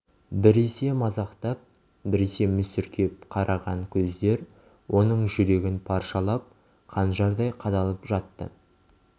біресе мазақтап біресе мүсіркеп караған көздер оның жүрегін паршалап қанжардай қадалып жатты